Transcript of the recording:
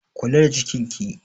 Kula da cikin ki!